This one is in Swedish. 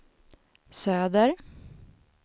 söder